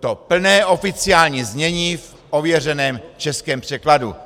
to plné oficiální znění v ověřeném českém překladu.